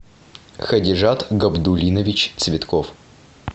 хадижат габдуллинович цветков